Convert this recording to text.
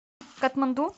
катманду